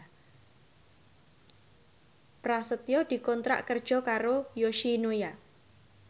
Prasetyo dikontrak kerja karo Yoshinoya